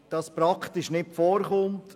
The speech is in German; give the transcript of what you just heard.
Es kommt praktisch nicht vor.